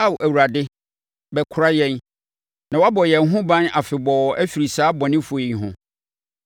Ao Awurade, wobɛkora yɛn na woabɔ yɛn ho ban afebɔɔ afiri saa abɔnefoɔ yi ho,